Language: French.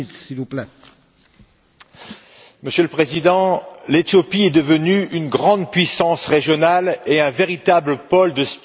Monsieur le Président, l'Éthiopie est devenue une grande puissance régionale et un véritable pôle de stabilité dans la Corne de l'Afrique.